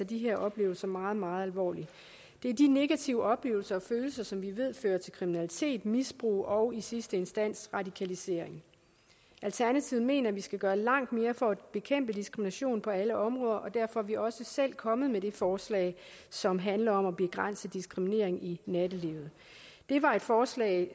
de her oplevelser meget meget alvorligt det er de negative oplevelser og følelser som vi ved fører til kriminalitet misbrug og i sidste instans radikalisering alternativet mener at vi skal gøre langt mere for at bekæmpe diskrimination på alle områder og derfor er vi også selv kommet med det forslag som handler om at begrænse diskriminering i nattelivet det var et forslag